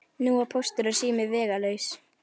Nú var Póstur og sími vegalaus.